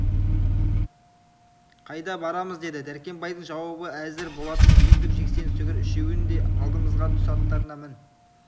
қайда барамыз деді дәркембайдың жауабы әзір болатын сүйіндік жексен сүгір үшеуің де алдымызға түс аттарыңа мін